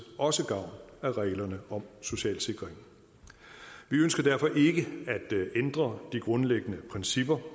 også gavn af reglerne om social sikring vi ønsker derfor ikke at ændre de grundlæggende principper